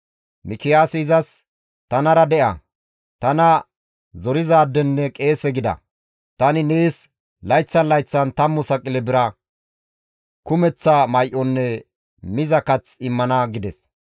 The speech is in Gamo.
Mikiyaasi izas, «Tanara de7a; tana zorizaadenne qeese gida. Tani nees layththan layththan 10 saqile bira, kumeththa may7onne miza kath immana» gides.